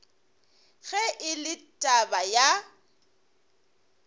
ge e le taba ya